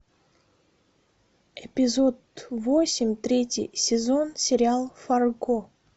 эпизод восемь третий сезон сериал фарго